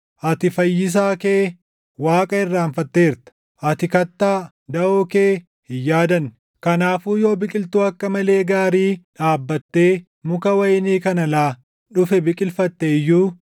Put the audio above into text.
Ati Fayyisaa kee, Waaqa irraanfatteerta; ati kattaa, daʼoo kee hin yaadanne. Kanaafuu yoo biqiltuu akka malee gaarii dhaabbattee muka wayinii kan alaa dhufe biqilfatte iyyuu,